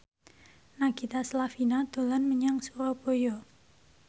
Nagita Slavina dolan menyang Surabaya